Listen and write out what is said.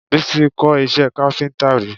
Bísí kọ́ iṣẹ́ káfíńtà rí